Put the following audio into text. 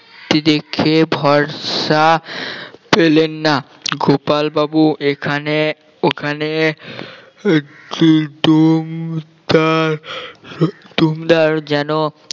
দেখে ভরসা পেলেন না গোপাল বাবু এখানে ওখানে একটি যেন